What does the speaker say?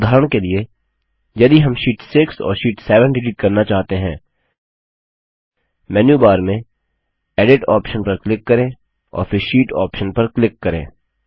उदाहरण के लिए यदि हम शीट 6 और शीट 7 डिलीट करना चाहते हैं मेन्यूबार में एडिट ऑप्शन पर क्लिक करें और फिर शीट ऑप्शन पर क्लिक करें